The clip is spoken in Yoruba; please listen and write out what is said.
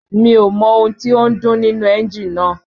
Mi ò mọ ohun tí ó ń dún nínú ẹ́ńjì náà